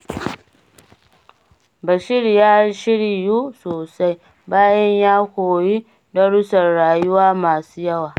Bashir ya shiryu sosai, bayan ya koyi darussan rayuwa masu yawa.